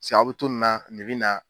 paseke a be to nin na nin be na